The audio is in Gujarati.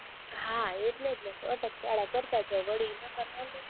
હા એટલે જ ને અટકચાળા કરતા જાય વળી